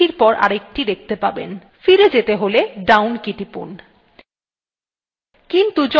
ফিরে যেতে হলে down key টিপুন